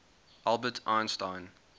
albert einstein